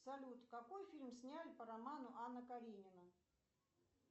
салют какой фильм сняли по роману анна каренина